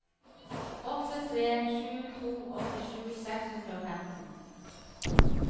åtte tre sju to åttisju seks hundre og femten